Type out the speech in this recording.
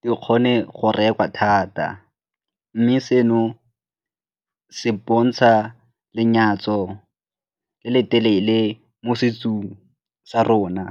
di kgone go rekwa thata mme seno se bontsha lenyatso le le telele mo setsong sa rona.